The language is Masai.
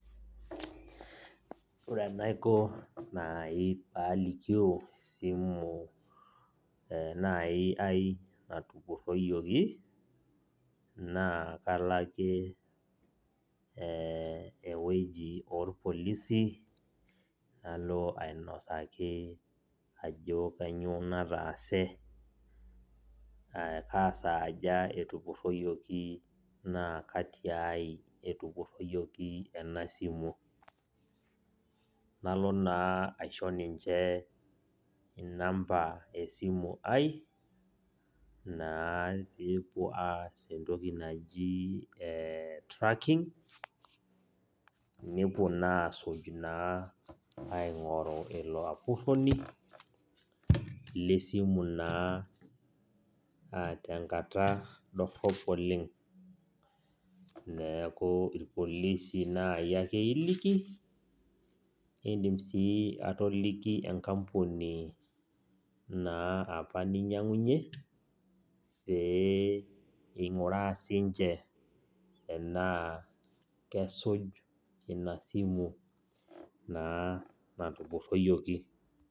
Ore enaiko nai palikio esimu nai ai natupurroyioki, naa kalake ewueji orpolisi, nalo ainosaki ajo kanyioo nataase, kasaaja etupurroyioki naa katiai etupurroyioki enasimu. Nalo naa aisho ninche inamba esimui ai, naa pepuo aas entoki naji eh tracking, nepuo naa asuj naa aing'oru ilo apurroni, lesimu naa tenkata dorrop oleng. Neeku irpolisi nai ake iliki, nidim si atoliki enkampuni naa apa ninyang'unye, pee ing'uraa sinche enaa kesuj ina simu naa natupurroyioki.